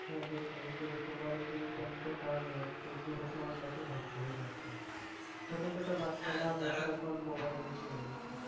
হ্যাঁ দেখছি এই যে তোমার এই যে internet এর কারনে আজকে যুব সমাজ দেখো ধ্বংস হয়ে যাচ্ছে। ছোটো ছোটো বাচ্চারা তারা mobile মুখি হয়ে গেছে।